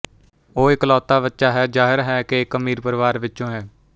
ਉਹ ਇਕਲੌਤਾ ਬੱਚਾ ਹੈ ਅਤੇ ਜ਼ਾਹਰ ਹੈ ਕਿ ਇਕ ਅਮੀਰ ਪਰਿਵਾਰ ਵਿਚੋਂ ਹੈ